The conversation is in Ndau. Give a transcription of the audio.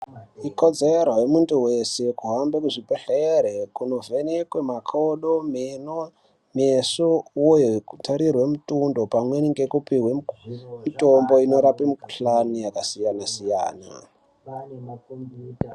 Ikodzero yemuntu wese kuhambe muzvibhelere kunovhenekwe makodo, meno, meso uye kutorerwe mutundo pamweni nekupiwe mitombo inorape mikhulani yakasiyana siyana.